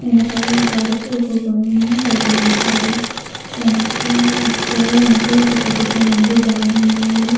వెనకాల గోడకి ఒక బొమ్మని తగిలించారు. వల వెనకాల ఒకటి పెద్దగా ఉంది.